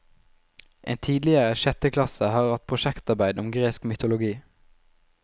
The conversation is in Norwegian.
En tidligere sjetteklasse har hatt prosjektarbeid om gresk mytologi.